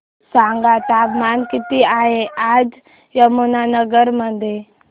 सांगा तापमान किती आहे आज यमुनानगर मध्ये